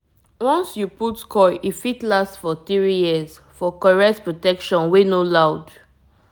once you put coil e fit last for 3yrs -for correct protection wey no loud